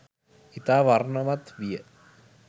ඉතා වර්ණවත් විය.